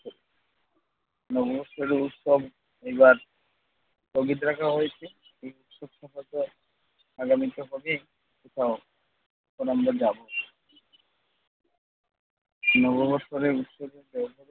নববর্ষের উৎসব এবার স্থগিত রাখা হয়েছে। এই আগামীতে হবেই নববৎসরের উৎসবে